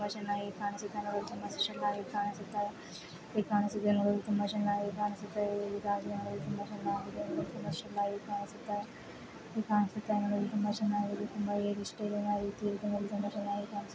ತುಂಬಾ ಚೆನ್ನಗಿ ಕಾಣಿಸುತ್ತದೆ ತುಂಬ ಕಾಣಿಸುತ್ತಿದೆ. ಹೀಗೆ ನೂಡಿ ಎಷ್ಟು ಚೆನ್ನಾಗಿ ಕಾಣಿಸುತ್ತಿದೆ ತುಂಬಾ ಚೆನ್ನಾಗಿ ಕಾಣಿಸುತ್ತಿದೆ ಕಾಣಿಸುತ್ತ ನೋಡಲು ತುಂಬ ಹೇಗೆ ಚೆನ್ನಾಗಿ ಕಾಣಿಸುತ್ತೆ.